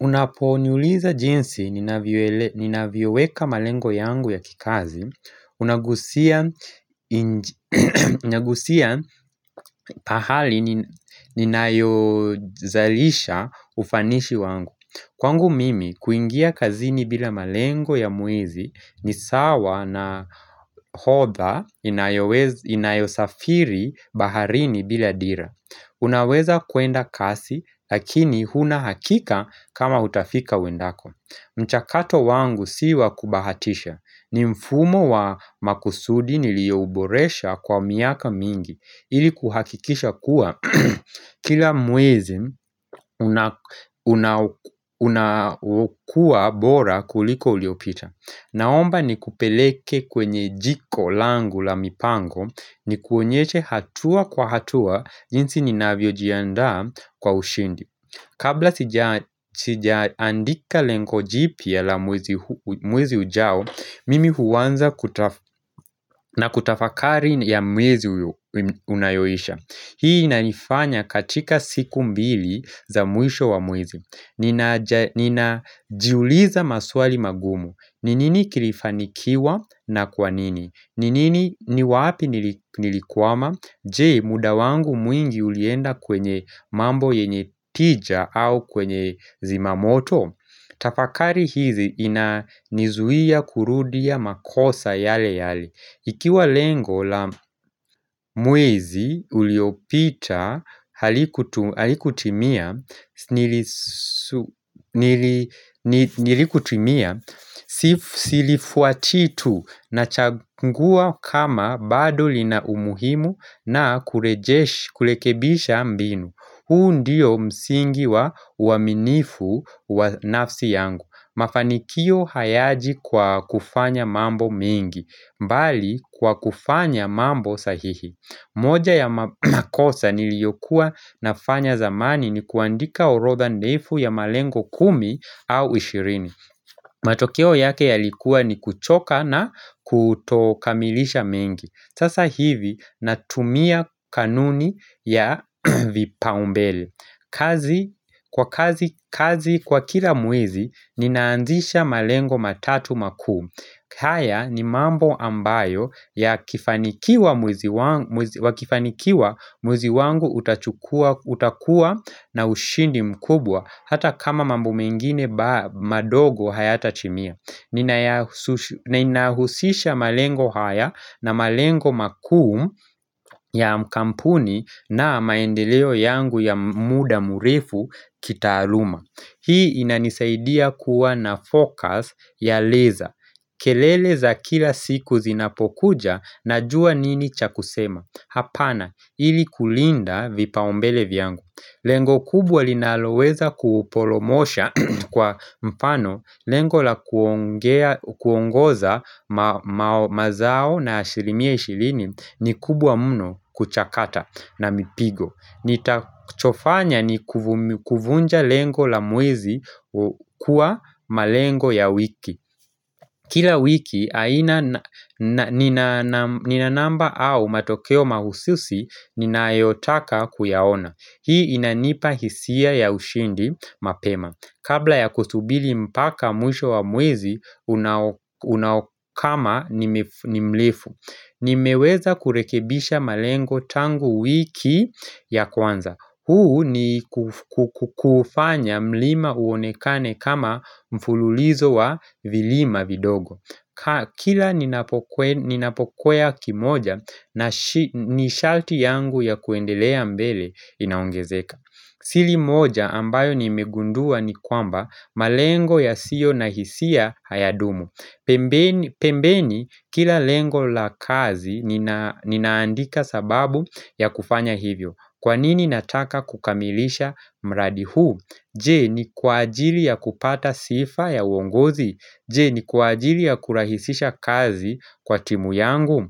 Unaponiuliza jinsi ninavyoweka malengo yangu ya kikazi Unagusia pahali ninayozalisha ufanishi wangu Kwangu mimi kuingia kazini bila malengo ya mwezi ni sawa na hodha inayosafiri baharini bila dira Unaweza kuenda kasi lakini hunahakika kama utafika uendako mchakato wangu si wa kubahatisha ni mfumo wa makusudi niliyouboresha kwa miaka mingi ili kuhakikisha kuwa kila mwezi unakuwa bora kuliko uliopita Naomba ni kupeleke kwenye jiko langu la mipango ni kuonyeshe hatua kwa hatua jinsi ninavyojiandaa kwa ushindi Kabla sijaandika lengo jipya la mwezi ujao Mimi huanza na kutafakari ya mwezi unayoisha Hii naifanya katika siku mbili za mwisho wa mwezi Ninajiuliza maswali magumu ni nini kilifanikiwa na kwa nini ni nini ni wapi nilikwama? Je muda wangu mwingi ulienda kwenye mambo yenye tija au kwenye zimamoto Tafakari hizi inanizuia kurudia makosa yale yale Ikiwa lengo la mwezi uliopita halikutimia Nilikutimia Sifu silifuatii tu na chagungua kama bado linaumuhimu na kulekebisha mbinu huu ndio msingi wa uaminifu wa nafsi yangu Mafanikio hayaji kwa kufanya mambo mingi mbali kwa kufanya mambo sahihi moja ya makosa niliyokuwa nafanya zamani ni kuandika orodha ndefu ya malengo kumi au ishirini matokeo yake yalikuwa ni kuchoka na kutokamilisha mengi Sasa hivi natumia kanuni ya vipaumbele Kwa kazi kwa kila mwezi ninaanzisha malengo matatu makuu haya ni mambo ambayo yakifanikiwa mwezi wangu utakua na ushindi mkubwa Hata kama mambo mengine madogo hayatatimia Ninahusisha malengo haya na malengo makuu ya kampuni na maendeleo yangu ya muda murefu kitaaluma Hii inanisaidia kuwa na focus ya leza kelele za kila siku zinapokuja najua nini cha kusema Hapana ili kulinda vipaumbele vyangu Lengo kubwa linaloweza kupolomosha kwa mfano lengo la kuongoza mazao na alishilimia ishilini ni kubwa mno kuchakata na mipigo Nitachofanya ni kuvunja lengo la mwezi kuwa malengo ya wiki Kila wiki ninanamba au matokeo mahususi ninayotaka kuyaona Hii inanipa hisia ya ushindi mapema. Kabla ya kusubili mpaka mwisho wa mwezi, unaokama ni mlefu. Nimeweza kurekebisha malengo tangu wiki ya kwanza. Huu ni kufanya mlima uonekane kama mfululizo wa vilima vidogo. Kila ninapokwea kimoja na nishalti yangu ya kuendelea mbele inaongezeka Sili moja ambayo nimegundua ni kwamba malengo yasiyo na hisia hayadumu pembeni kila lengo la kazi ninaandika sababu ya kufanya hivyo Kwa nini nataka kukamilisha mradi huu Je ni kwa ajili ya kupata sifa ya uongozi Je ni kuajili ya kurahisisha kazi kwa timu yangu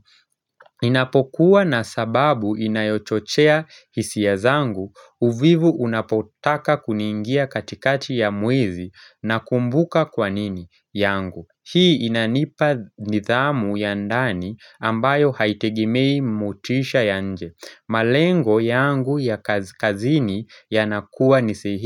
ninapokuwa na sababu inayochochea hisia zangu uvivu unapotaka kuniingia katikati ya mwezi nakumbuka kwa nini yangu Hii inanipa nidhamu ya ndani ambayo haitegemei mutisha ya nje malengo yangu ya kazini yanakuwa ni sehi.